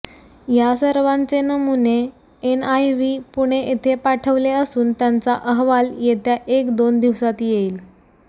या सर्वांचे नमुने एनआयव्ही पुणे इथे पाठवले असून त्यांचा अहवाल येत्या एक दोन दिवसात येईल